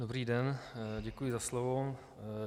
Dobrý den, děkuji za slovo.